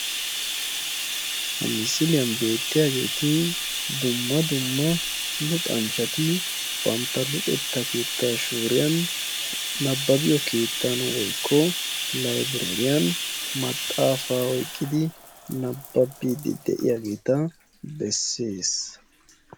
Ha misiliyaan beettiyaageti dumma dumma luxanchchati bantta luxettaa keettaa shuuriyaan nababbiyoo keettan woykko laybereriyaan maxafaa oyqqidi nababbiidi de'iyaageta bessees.